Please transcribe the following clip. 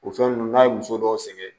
O fɛn nunnu n'a ye muso dɔw sɛgɛn